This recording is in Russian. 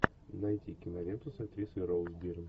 найти киноленту с актрисой роуз бирн